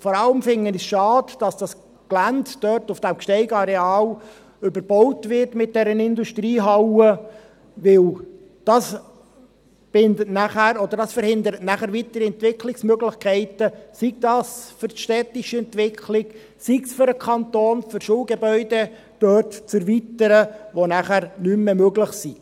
Vor allem finde ich es schade, dass das Gelände dort auf dem GsteigAreal überbaut wird mit einer Industriehalle, weil das bindet nachher … oder das verhindert nachher weitere Entwicklungsmöglichkeiten, sei es für die städtische Entwicklung, sei es für den Kanton, um Schulgebäude dort zu erweitern, die nachher nicht mehr möglich sind.